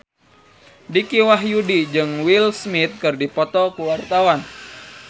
Dicky Wahyudi jeung Will Smith keur dipoto ku wartawan